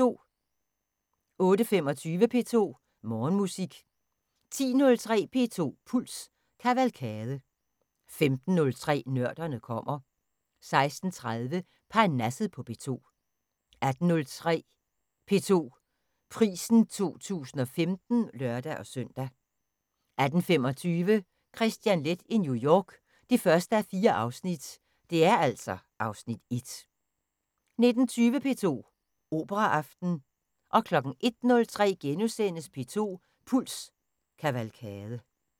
08:25: P2 Morgenmusik 10:03: P2 Puls – Kavalkade 15:03: Nørderne kommer 16:30: Parnasset på P2 18:03: P2 Prisen 2015 (lør-søn) 18:25: Kristian Leth i New York (1:4) (Afs. 1) 19:20: P2 Operaaften 01:03: P2 Puls – Kavalkade *